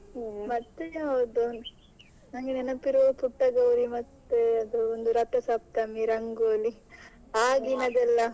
ಮತ್ತೆ ಯಾವುದು ನನಗೆ ನೆನಪಿರುದು ಪುಟ್ಟಗೌರಿ ಮತ್ತೆ ಅದು ಒಂದು ರಥಸಪ್ತಮಿ ರಂಗೋಲಿ ಆ ದಿನದಲ್ಲ.